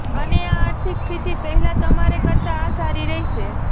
અને આ આર્થિક સ્થિતિ પહેલા તમારે કરતા આ સારી રહેશે